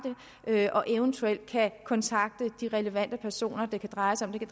det og eventuelt kontakte de relevante personer det kan dreje sig om det